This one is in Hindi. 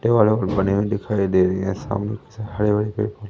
दिखाई दे रहे हैं सामने हरे भरे पेड़ पौधे--